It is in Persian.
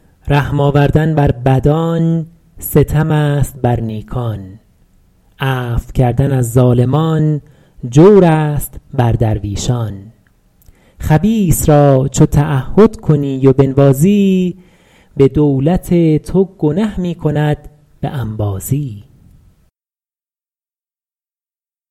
رحم آوردن بر بدان ستم است بر نیکان عفو کردن از ظالمان جور است بر درویشان خبیث را چو تعهد کنی و بنوازی به دولت تو گنه می کند به انبازی